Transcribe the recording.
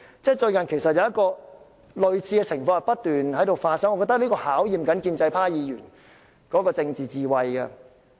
最近，類似的情況不斷發生，我認為這是在考驗建制派議員的政治智慧。